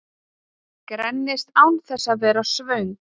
Grennist án þess að vera svöng